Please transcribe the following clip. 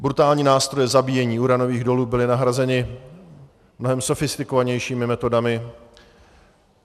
Brutální nástroje zabíjení, uranových dolů byly nahrazeny mnohem sofistikovanějšími metodami.